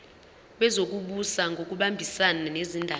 wezokubusa ngokubambisana nezindaba